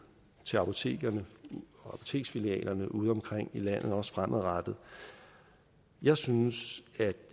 til apotekerne og apoteksfilialerne udeomkring i landet også fremadrettet jeg synes